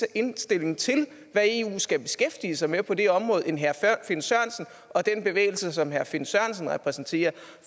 indstilling til hvad eu skal beskæftige sig med på det område end herre finn sørensen og den bevægelse som herre finn sørensen repræsenterer